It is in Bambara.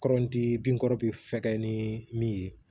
Kɔrɔnti bin kɔrɔ bi fɛkɛya ni min ye